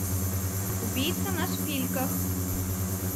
убийца на шпильках